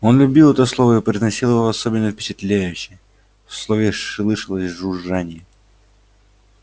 он любил это слово и произносил его особенно впечатляюще в слове слышалось жужжание